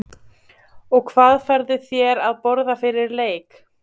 og hvað færðu þér að borða fyrir leik?